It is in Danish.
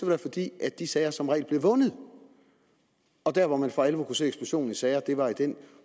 være fordi de sager som regel blev vundet der hvor man for alvor kunne se eksplosionen i sager var i den